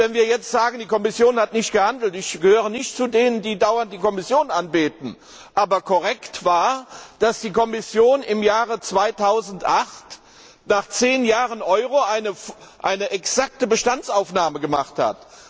Wir sagen jetzt, die Kommission hat nicht gehandelt ich gehöre nicht zu denen, die dauernd die Kommission anbeten, aber korrekt war, dass die Kommission im Jahre 2008 nach zehn Jahren Euro eine exakte Bestandsaufnahme gemacht hat.